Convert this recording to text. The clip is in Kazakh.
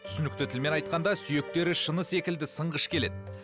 түсінікті тілмен айтқанда сүйектері шыны секілді сынғыш келеді